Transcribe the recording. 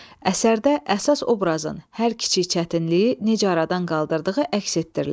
Əsərdə əsas obrazın hər kiçik çətinliyi necə aradan qaldırdığı əks etdirilir.